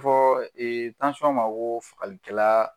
Fɔɔ ma koo fagalikɛlaa